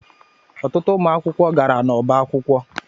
Ọtụtụ ụmụ akwụkwọ gara n'ọbá akwụkwọ.